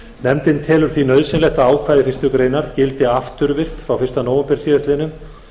nefndin telur því nauðsynlegt að ákvæði fyrstu grein gildi afturvirkt frá fyrsta nóvember síðastliðnum